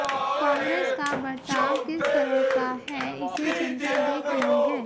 कांग्रेस का बर्ताव किस तरह का है इसे जनता देख रही है